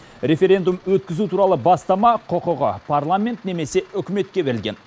референдум өткізу туралы бастама құқығы парламент немесе үкіметке берілген